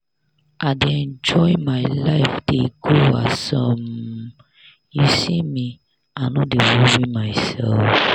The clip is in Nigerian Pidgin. i dey enjoy my life dey go as um you see me i no dey worry myself.